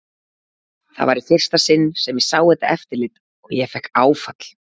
Það var í fyrsta sinn sem ég sá þetta eftirlit og ég fékk áfall.